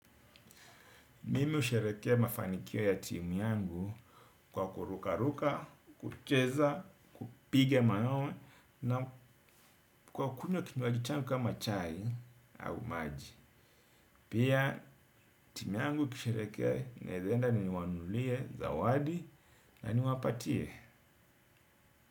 Mimi hushereheke mafanikio ya timu yangu kwa kurukaruka, kucheza, kupiga mayowe na kwa kunywa kinywaji changu kama chai au maji. Pia timu yangu ikishereheke naezaenda niwanunulie, zawadi na ni wapatie.